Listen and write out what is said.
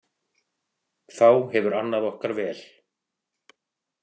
Þá hefur annað okkar vel.